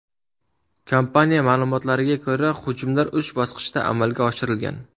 Kompaniya ma’lumotlariga ko‘ra, hujumlar uch bosqichda amalga oshirilgan.